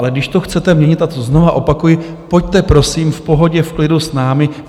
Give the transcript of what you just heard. Ale když to chcete měnit, a to znovu opakuji, pojďte prosím v pohodě, v klidu s námi.